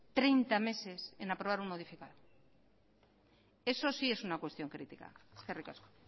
treinta meses en aprobar un modificado eso sí es una cuestión crítica eskerrik asko